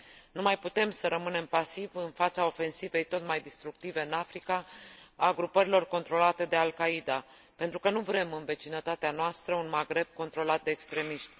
Nu mai putem să rămânem pasivi în fața ofensivei tot mai distructive în Africa a grupărilor controlate de Al Qaida, pentru că nu vrem în vecinătatea noastră un Magreb controlat de extremiști.